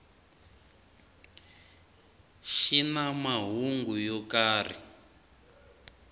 xi na mahungu yo karhi